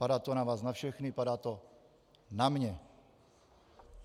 Padá to na vás na všechny, padá to na mě.